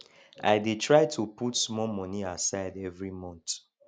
i dey try to put small money aside every month